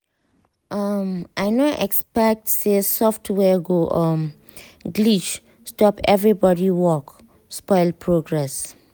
um i no expect say software go um glitch stop everybody work spoil progress